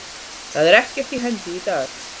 Það er ekkert í hendi í dag.